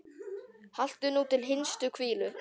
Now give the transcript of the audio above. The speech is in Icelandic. Haltu nú til hinstu hvílu.